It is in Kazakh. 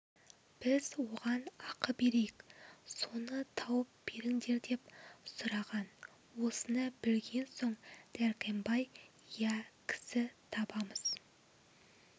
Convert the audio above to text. біз оған ақы берейік соны тауып беріңдер деп сұраған осыны білген соң дәркембай иә кісі табамыз